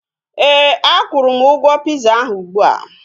Éè, a kwuru m ụgwọ piza ahu ụgbụa